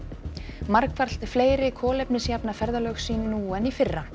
margfalt fleiri kolefnisjafna ferðalög sín nú en í fyrra